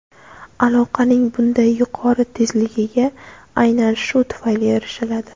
Aloqaning bunday yuqori tezligiga aynan shu tufayli erishiladi.